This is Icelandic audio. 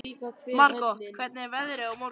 Margot, hvernig er veðrið á morgun?